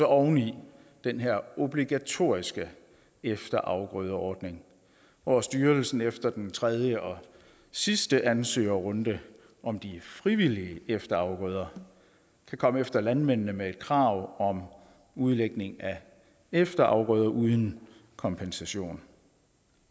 oven i den her obligatoriske efterafgrødeordning hvor styrelsen efter den tredje og sidste ansøgerrunde om de frivillige efterafgrøder kan komme efter landmændene med et krav om udlægning af efterafgrøder uden kompensation